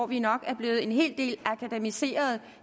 vi er nok blevet en hel del akademiseret